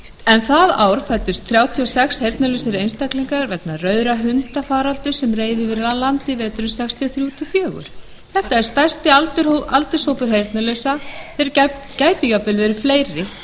en það ár fæddust þrjátíu og sex heyrnarlausir einstaklingar vegna rauðra hunda faraldurs sem reið yfir landið veturinn nítján hundruð sextíu og þrjú til sextíu og fjögur þetta er stærsti aldurshópur heyrnarlausra og þeir gætu jafnvel verið fleiri